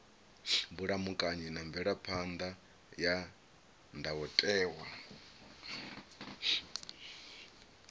vhulamukanyi na mvelaphan ḓa ya ndayotewa